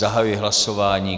Zahajuji hlasování.